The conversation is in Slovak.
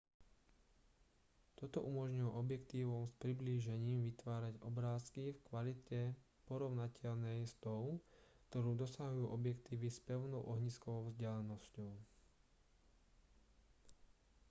toto umožnilo objektívom s priblížením vytvárať obrázky v kvalite porovnateľnej s tou ktorú dosahujú objektívy s pevnou ohniskovou vzdialenosťou